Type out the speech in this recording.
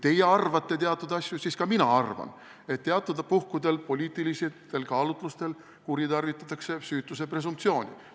Teie arvate teatud asju, mina arvan, et teatud puhkudel poliitilistel kaalutlustel kuritarvitatakse süütuse presumptsiooni.